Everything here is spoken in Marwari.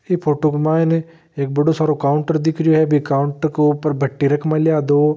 इ फोटू के मायने एक बड़ो सारो काउंटर दिख रियो हैं बी काउंटर के ऊपर भट्टि रख मेल्या है दो।